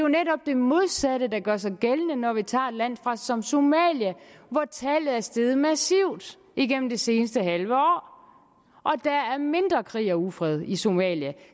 netop det modsatte der gør sig gældende når vi tager et land som somalia hvor tallet er steget massivt igennem det seneste halve år og der er mindre krig og ufred i somalia